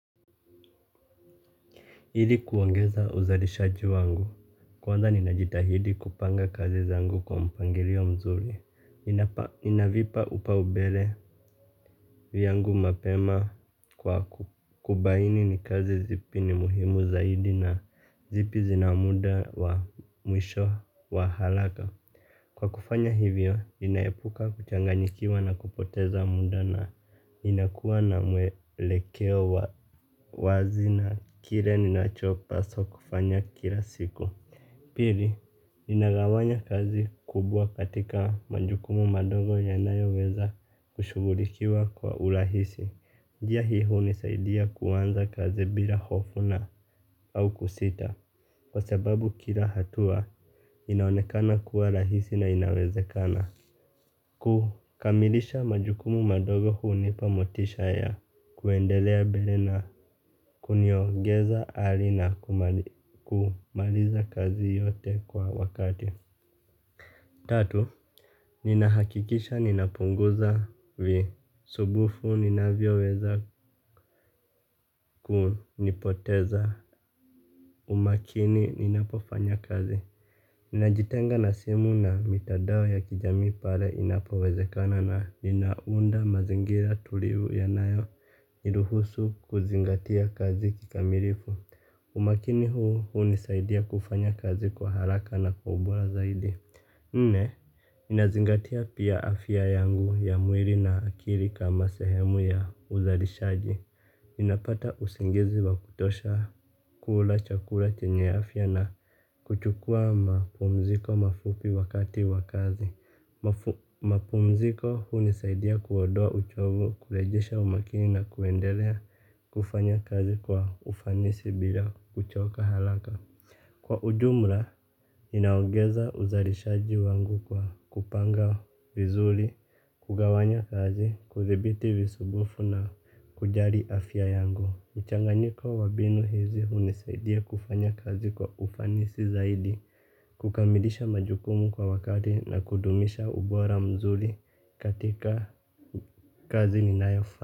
Hili kuongeza uzalishaji wangu. Kwanza ninajitahidi kupanga kazi zangu kwa mpangilio mzuri. Ninavipa upa ubele viyangu mapema kwa kubaini ni kazi zipi ni muhimu zaidi na zipi zina muda wa mwisho wa halaka. Kwa kufanya hivyo, ninaepuka kuchanganyikiwa na kupoteza muda na inakuwa na mwelekeo wazi na kire ninachopaswa kufanya kila siku. Pili, inagawanya kazi kubwa katika manjukumu mandogo yanayoweza kushugulikiwa kwa urahisi. Njia hi hunisaidia kuanza kazi bila hofu na au kusita. Kwa sababu kila hatua inaonekana kuwa rahisi na inawezekana. Kukamilisha majukumu madogo hunipa motisha ya kuendelea bere na kuniogeza ali na kumaliza kazi yote kwa wakati. Tatu, ninahakikisha ninapunguza vi. Subufu ninavyo weza kunipoteza. Umakini ninapofanya kazi. Najitenga na simu na mitadao ya kijamii pale inapowezekana na ninaunda mazingira tulivu yanayo niluhusu kuzingatia kazi kikamirifu. Umakini huu hunisaidia kufanya kazi kwa haraka na kwa ubola zaidi. Nne, nnazingatia pia afia yangu ya muiri na akiri kama sehemu ya uzarishaji. Napata usingizi wa kutosha kula chakula chenye afia na kuchukua mapumziko mafupi wakati wa kazi. Mapumziko hunisaidia kuodoa uchovu, kulejesha umakini na kuendelea kufanya kazi kwa ufanisi bila kuchoka halaka. Kwa ujumla, inaongeza uzarishaji wangu kwa kupanga vizuli, kugawanya kazi, kuthibiti visubufu na kujari afya yangu. Michanganyiko wa binu hizi hunisaidia kufanya kazi kwa ufanisi zaidi, kukamilisha majukumu kwa wakati na kudumisha ubora mzuli katika kazi ninayofanya.